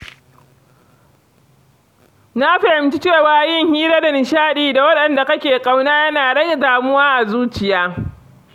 Na fahimci cewa yin hira da nishadi da waɗanda kake ƙauna yana rage damuwa a zuciya.